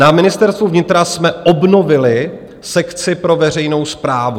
Na Ministerstvu vnitra jsme obnovili sekci pro veřejnou správu.